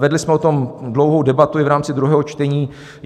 Vedli jsme o tom dlouhou debatu i v rámci druhého čtení.